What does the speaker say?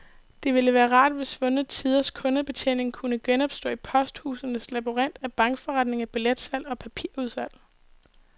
Det ville være rart, hvis svundne tiders kundebetjening kunne genopstå i posthusenes labyrint af bankforretninger, billetsalg og papirudsalg.